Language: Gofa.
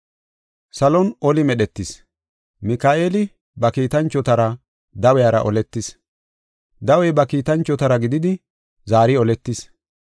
Salon oli medhetis. Mika7eeli ba kiitanchotara dawiyara oletis; dawey ba kiitanchotara gididi zaari oletis.